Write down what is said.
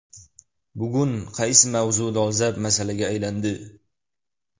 Bugun qaysi mavzu dolzarb masalaga aylandi?